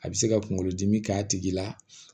A bɛ se ka kunkolo dimi k'a tigi la